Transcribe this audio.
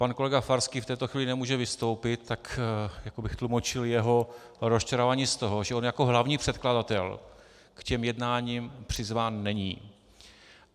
Pan kolega Farský v této chvíli nemůže vystoupit, tak jako bych tlumočil jeho rozčarování z toho, že on jako hlavní předkladatel k těm jednáním přizván není.